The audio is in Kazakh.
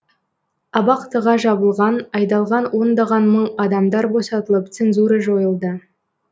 абақтыға жабылған айдалған ондаған мың адамдар босатылып цензура жойылды